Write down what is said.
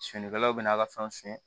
Finikalaw bɛ n'a ka fɛnw suɲɛ